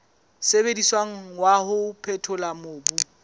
sebediswang wa ho phethola mobu